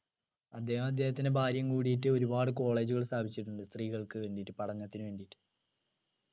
അദ്ദേഹവും അദ്ദേഹത്തിൻ്റെ ഭാര്യയും കൂടിറ്റ് ഒരുപാട് college കൾ സ്ഥാപിച്ചിട്ടുണ്ട് സ്ത്രീകൾക്ക് വേണ്ടിയിട്ട് പഠനത്തിനുവേണ്ടിട്ട്